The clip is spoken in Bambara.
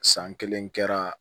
San kelen kɛra